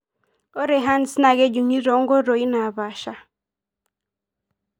Ore HERNS naa kejungi tonkoitoi napasha.